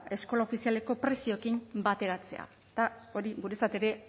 eskola ofizialeko prezioarekin bateratzea eta hori guretzat ere